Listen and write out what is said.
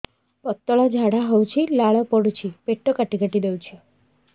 ପତଳା ଝାଡା ହଉଛି ଲାଳ ପଡୁଛି ପେଟ କାଟି କାଟି ଦଉଚି